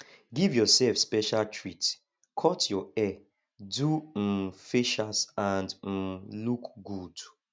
give yourself special treat cut your hair do um facials and um look good